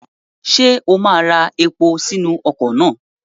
Ṣé o máa ra epo sínú ọkọ̀ náà?